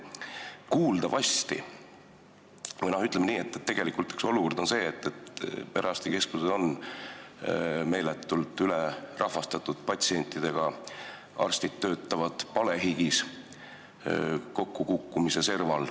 Kuuldavasti on olukord selline, et perearstikeskused on meeletult ülerahvastatud, patsiente on palju, arstid töötavad palehigis ja on kokkukukkumise serval.